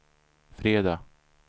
fredag